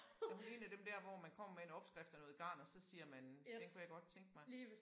Er hun 1 af dem dér hvor man kommer med en opskrift og noget garn og så siger man den kunne jeg godt tænke mig